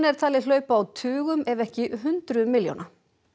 er talið hlaupa á tugum ef ekki hundruðum milljóna